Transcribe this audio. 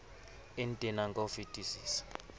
e ntenang ka ho fetisisa